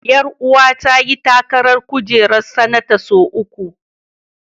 Ƴaruwa ta ta yi takarar kujerar sanata sau uku.